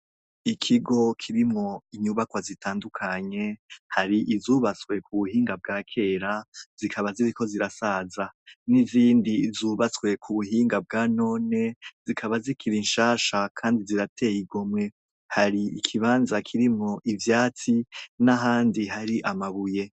Ikigo kirimo inyubakwa zitandukanye, hari izubatswe ku buhinga bwa kera zikaba zibiko zirasaza ,n'izindi zubatswe ku buhinga bwa none zikaba zikira inshasha kandi zirateye igomwe hari ikibanza kirimo ibyatsi n'ahandi hari amabuye.